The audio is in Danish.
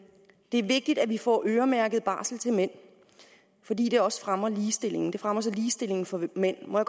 er vigtigt vi får øremærket barsel til mænd fordi det også fremmer ligestillingen fremmer ligestillingen for mænd må